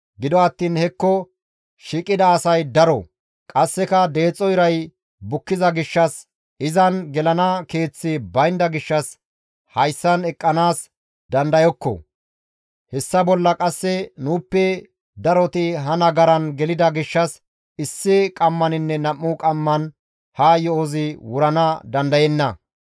Gido attiin hekko shiiqida asay daro; qasseka deexo iray bukkiza gishshas, izan gelana keeththi baynda gishshas hayssan eqqanaas dandayokko; hessa bolla qasse nuuppe daroti ha nagaran gelida gishshas issi qammaninne nam7u qamman ha yo7ozi wurana dandayenna.